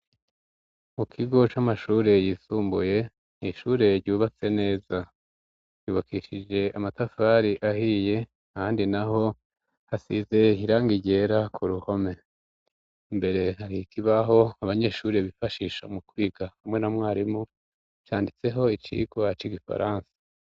Mu kigo c'amashuri yisumbuye ishuri ryubatse neza yubakishije amatafari ahiye handi naho hasize irangi ryera ku ruhome mbere hari ikibaho abanyeshuri bifashisha mu kwiga hamwe na mwarimu canditseho icigwa c' igifaransa.